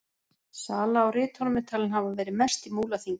Salan á ritunum er talin hafa verið mest í Múlaþingi.